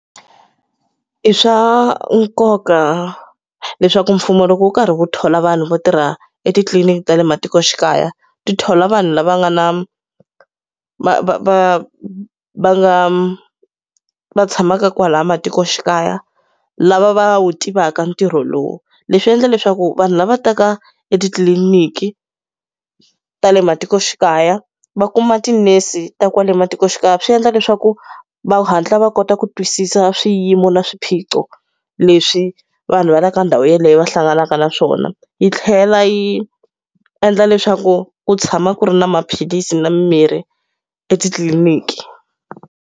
I swa nkoka leswaku mfumo loko wu karhi wu thola vanhu vo tirha etitliliniki ta le matikoxikaya, ti thola vanhu lava nga na va va va va nga va tshamaka kwalaya matikoxikaya, lava va wu tivaka ntirho lowu. Leswi endla leswaku vanhu lava taka etitliliniki ta le matikoxikaya, va kuma tinese ta kwale matikoxikaya, swi endla leswaku va hatla va kota ku twisisa swiyimo na swiphiqo leswi vanhu va le ka ndhawu yeleyo va hlanganaka na swona. Yi tlhela yi endla leswaku ku tshama ku ri na maphilisi na mimirhi etitliliniki.